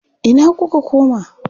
Ina kuka koma?